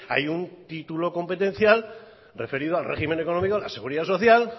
hay un título competencial referido al régimen económico de la seguridad social